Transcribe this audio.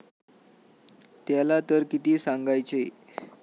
त्याला तर किती सांगायचे?